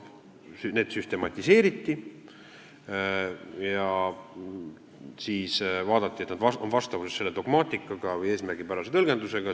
Need süstematiseeriti ja siis vaadati, et need oleksid vastavuses selle dogmaatika või eesmärgipärase tõlgendusega.